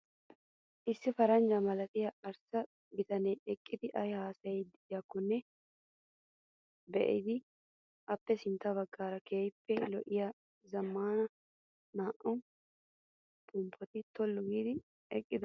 Issi paranjja malatiyaa arssa bitanee eqqidi ayi haasayiiddi diyaakkonne biddes. Appe sintta baggaara keehippe lo'iyaa zammaana naa'u pomppati tollu giidi eqqidosona.